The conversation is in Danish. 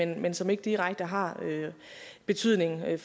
men som ikke direkte har betydning